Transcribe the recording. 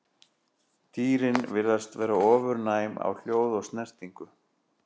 Dýrin virðast vera ofurnæm á hljóð og snertingu.